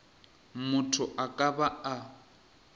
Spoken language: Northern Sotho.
motho a ka ba a